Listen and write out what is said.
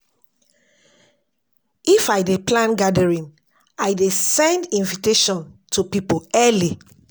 If I dey plan gathering, I dey send invitation to pipo early.